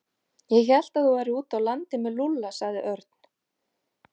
Ég hélt að þú værir úti á landi með Lúlla sagði Örn.